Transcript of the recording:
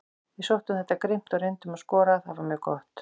Við sóttum þetta grimmt og reyndum að skora, það var mjög gott.